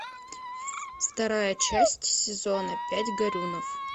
вторая часть сезона пять горюнов